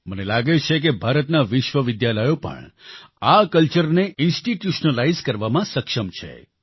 મને લાગે છે કે ભારતના વિશ્વવિદ્યાલયો પણ આ કલ્ચરને ઇન્સ્ટિટ્યુશનલાઇઝ કરવામાં સક્ષમ છે